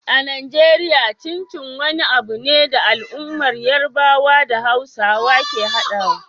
A Najeriya, Chin Chin wani abu ne da al'ummar Yarbawa da Hausawa ke haɗawa.